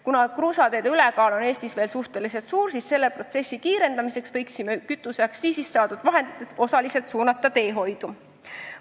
Kuna kruusateede ülekaal on Eestis veel suhteliselt suur, võiksime selle protsessi kiirendamiseks kütuseaktsiisist saadud vahendid osaliselt teehoidu suunata.